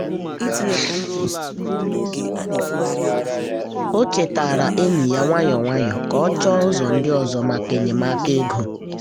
o chetara enyi ya nwayọọ nwayọọ ka ọ chọọ ụzọ ndị ọzọ maka enyemaka ego.